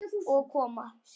Og koma